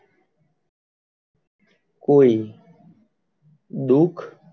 કોઈ દુખ